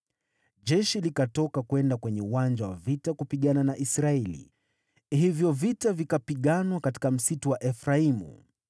Jeshi likatoka kwenda kwenye uwanja wa vita kupigana na Israeli, hivyo vita vikapiganwa katika msitu wa Efraimu.